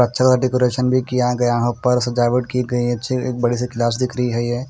अच्छा सा डेकोरेशन भी किया गया उपर सजावट की गई है अच्छी बड़ी सी क्लास दिख रही हैं ये--